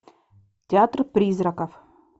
театр призраков